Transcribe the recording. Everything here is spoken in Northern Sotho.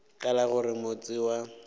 ka la gore motse wa